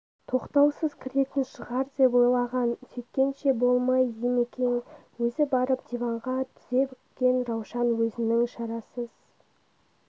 тоқтаусыз кіретін шығар деп ойлаған сөйткенше болмай димекең өзі барып диванға тізе бүккен раушан өзінің шарасыз